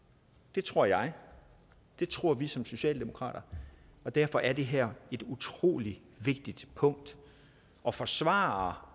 det tror jeg det tror vi som socialdemokrater og derfor er det her et utrolig vigtigt punkt at forsvare